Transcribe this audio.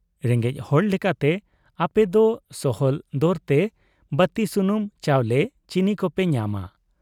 ᱨᱮᱸᱜᱮᱡ ᱦᱚᱲ ᱞᱮᱠᱟᱛᱮ ᱟᱯᱮᱫᱚ ᱥᱚᱦᱚᱞ ᱫᱚᱨᱛᱮ ᱵᱟᱹᱛᱤ ᱥᱩᱱᱩᱢ, ᱪᱟᱣᱞᱮ, ᱪᱤᱱᱤ ᱠᱚᱯᱮ ᱧᱟᱢᱟ ᱾